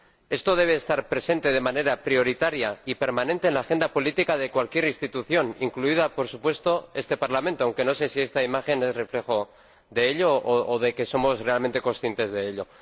Esto debe estar presente, de manera prioritaria y permanente, en la agenda política de cualquier institución, incluido, por supuesto, este Parlamento, aunque no sé si esta imagen es reflejo de ello o de que somos realmente conscientes de ello.